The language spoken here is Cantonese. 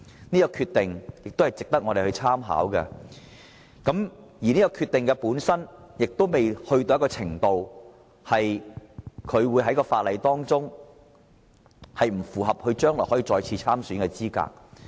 有關決定亦值得我們參考，當中的處分程度不致令他將來在法律上不符合再次參選的資格。